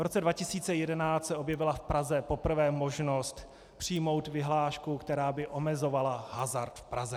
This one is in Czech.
V roce 2011 se objevila v Praze poprvé možnost přijmout vyhlášku, která by omezovala hazard v Praze.